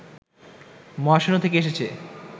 মহাশূন্য থেকে এসেছে